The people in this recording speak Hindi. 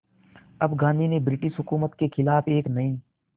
अब गांधी ने ब्रिटिश हुकूमत के ख़िलाफ़ एक नये